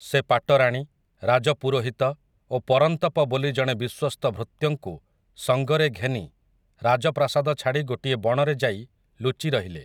ସେ ପାଟରାଣୀ, ରାଜପୁରୋହିତ ଓ ପରନ୍ତପ ବୋଲି ଜଣେ ବିଶ୍ୱସ୍ତ ଭୃତ୍ୟଙ୍କୁ ସଙ୍ଗରେ ଘେନି ରାଜପ୍ରାସାଦ ଛାଡ଼ି ଗୋଟିଏ ବଣରେ ଯାଇ ଲୁଚି ରହିଲେ ।